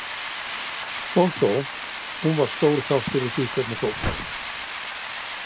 Og þó, hún var stór þáttur í því hvernig fór.